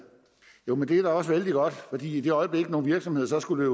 jo men det er da også vældig godt for i det øjeblik nogle virksomheder så skulle